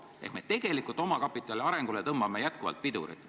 Ehk tegelikult tõmbame me omakapitali arengule jätkuvalt pidurit.